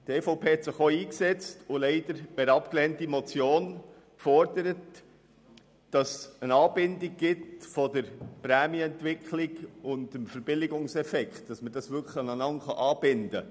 Die EVP hat sich auch mit einer leider abgelehnten Motion dafür eingesetzt, dass es eine Anbindung des Verbilligungseffekts an die Prämienentwicklung gibt.